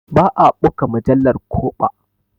Ba a ɓuga mujallar ko ɓa.